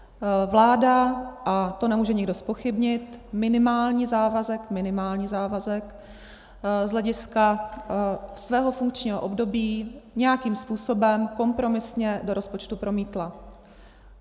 Vláda - a to nemůže nikdo zpochybnit - minimální závazek z hlediska svého funkčního období nějakým způsobem kompromisně do rozpočtu promítla.